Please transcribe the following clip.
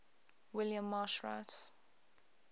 william marsh rice